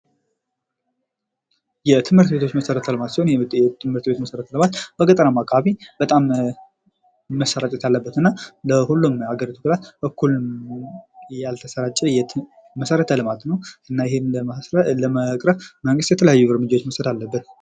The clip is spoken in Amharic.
የትምህርት ቤቶች መሠረተ ልማት ሲሆን በገጠራማ አካባቢ በጣም መሰራጨት አለበት እና ለሁሉም አገሪቱ እኩል ያልተሰራጨ መሠረተ ልማት ነው። እና ይህም ለመቅረፍ መንግስት የተለያየ እርምጃዎችን መስጠት አለበት።